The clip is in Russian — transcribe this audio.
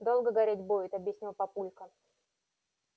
долго гореть будет объяснил папулька